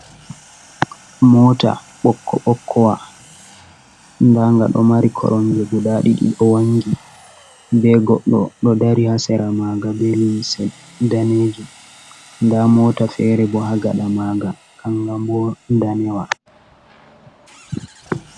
Mota bokko bokkowa danga ɗo mari koromje guda ɗiɗi ɗo wangi ɓe goɗɗo ɗo dari hasera maga be limse danejum, nda mota fere bo ha gada maga kanga bo danewa.